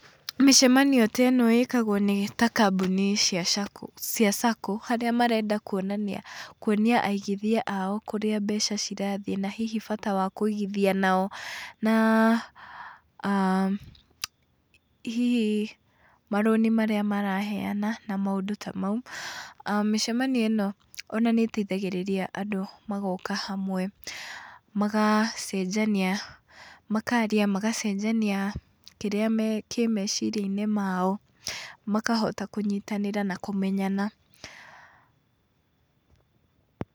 Mĩcemanio ta ĩno ĩkagwo nĩ ta kambuni cia SACCO harĩa marenda kuonania , kuonia aigithia ao kũrĩa mbeca cirathiĩ na hihi bata wa kũigithia nao na hihi marũni marĩa maraheana na maũndũ ta mau. Mĩcemani ĩno ona nĩ ĩteithagĩrĩria andũ magoka hamwe magacenjania, makaria magacenjania kĩrĩa kĩ meciria-inĩ mao makahota kũnyitanĩra na kũmenyana.